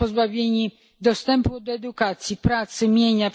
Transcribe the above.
Są pozbawieni dostępu do edukacji, pracy, mienia.